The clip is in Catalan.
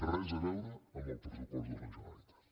res a veure amb el pressupost de la generalitat